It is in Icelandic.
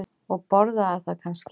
Og borðaði það kannski?